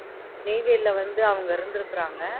நெய்வேலில வந்து அவங்க இருந்திருக்கிறாங்க